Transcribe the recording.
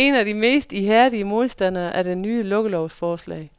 Hun er en af de mest ihærdige modstandere af det nye lukkelovsforslag.